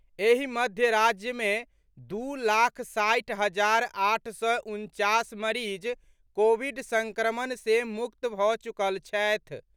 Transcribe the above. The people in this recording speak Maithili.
एहि मध्य राज्य मे दू लाख साठि हजार आठ सय उनचास मरीज कोविड संक्रमण से मुक्त भऽ चुकल छथि।